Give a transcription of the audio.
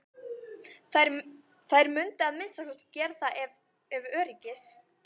Þær mundu að minnsta kosti gera það ef öryggis